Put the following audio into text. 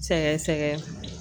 Sɛgɛn sɛgɛn.